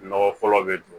Nɔgɔ fɔlɔ bɛ dun